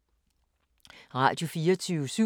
Radio24syv